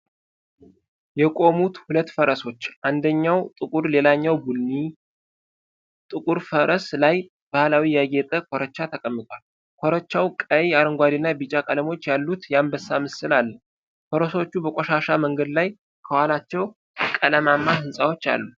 የቆሙት ሁለት ፈረሶች፣ አንደኛው ጥቁር ሌላኛው ቀይ ቡኒ፣ ጥቁሩ ፈረስ ላይ ባህላዊ ያጌጠ ኮርቻ ተቀምጧል። ኮርቻው ቀይ፣ አረንጓዴና ቢጫ ቀለሞች ያሉት፣ የአንበሳ ምስል አለው። ፈረሶቹ በቆሻሻ መንገድ ላይ ከኋላቸው ቀለማማ ሕንፃዎች አሉ።